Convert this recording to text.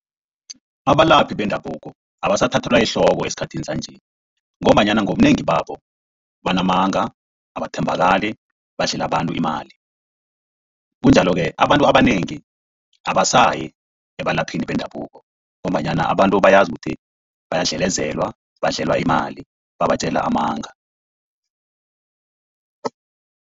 Abalaphi bendabuko abasathathelwa ehloko esikhathini sanje, ngombanyana ngobunengi babo banamanga, abathembakali, badlela abantu imali. Kunjalo-ke abantu abanengi abasayi ebalaphini bendabuko, ngombanyana abantu bayazi ukuthi bayadlelezelwa, badlelwa imali babatjela amanga.